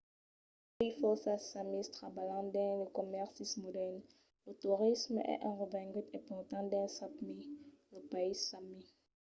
uèi fòrça samis trabalhan dins de comèrcis modèrns. lo torisme es un revengut important dins sápmi lo país sami